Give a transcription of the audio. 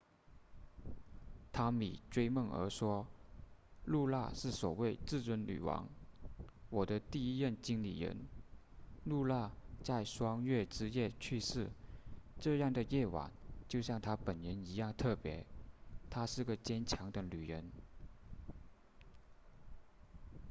汤米追梦儿说露娜是首位至尊女王我的第一任经理人露娜在双月之夜去世这样的夜晚就像她本人一样特别她是个坚强的女人